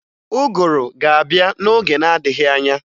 Ụgụru ga-abịa n'oge na-adịghị anya